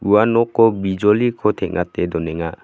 ua noko bijoliko teng·ate donenga.